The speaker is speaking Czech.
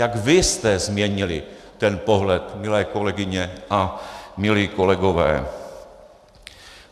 Jak vy jste změnili ten pohled, milé kolegyně a milí kolegové.